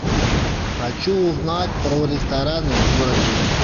хочу узнать про рестораны в городе